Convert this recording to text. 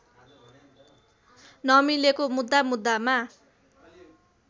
नमिलेको मुद्दा मुद्दामा